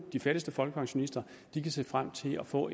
de fattigste folkepensionister kan se frem til at få